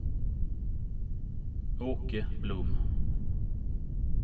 Åke Blom